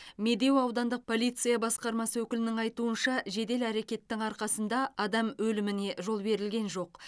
медеу аудандық полиция басқармасы өкілінің айтуынша жедел әрекеттің арқасында адам өліміне жол берілген жоқ